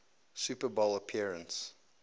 super bowl appearance